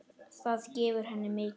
Það gefur henni mikið.